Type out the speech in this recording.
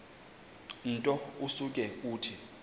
nto usuke uthi